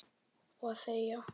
Og þegja.